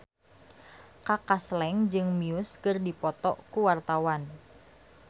Kaka Slank jeung Muse keur dipoto ku wartawan